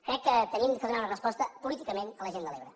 crec que hem de donar una resposta políticament a la gent de l’ebre